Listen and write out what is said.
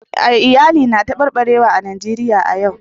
Iyali na tabarbarewa a Najeriya a yau